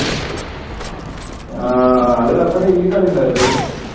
ആഹ് daily കളി ഉണ്ടാവുമല്ലേ ?